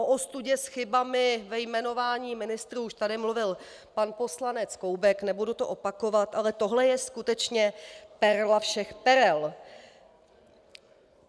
O ostudě s chybami ve jmenování ministrů už tady mluvil pan poslanec Koubek, nebudu to opakovat, ale tohle je skutečně perla všech perel.